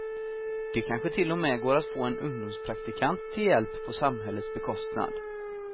Det kanske till och med går att få en ungdomspraktikant till hjälp på samhällets bekostnad.